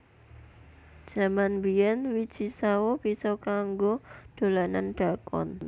Jaman biyen wiji sawo bisa kanggo dolanan dakon